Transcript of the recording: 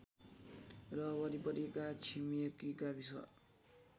र वरिपरिका छिमेकी गाविस